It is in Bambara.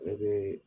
Ne bɛ